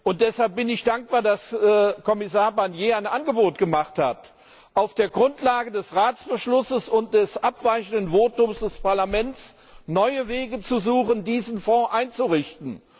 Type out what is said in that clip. Und deshalb bin ich dankbar, dass Kommissar Barnier ein Angebot gemacht hat, auf der Grundlage des Ratsbeschlusses und des abweichenden Votums des Parlaments neue Wege zu suchen, diesen Fonds einzurichten.